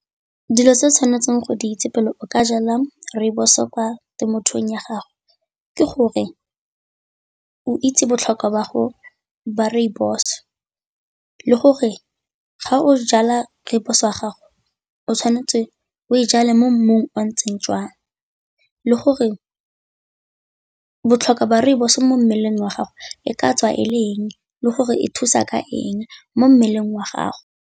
Dilo tse o tshwanetseng go di itse pele o ka jala rooibos-o kwa temothuong ya gago ke gore o itse botlhokwa ba rooibos, le gore ga o jala rooibos wa gago o tshwanetse o e jale mo mmung o o ntseng jang, le gore botlhokwa ba rooibos mo mmeleng wa gago e ka tswa e le eng le gore e thusa ka eng mo mmeleng wa gago.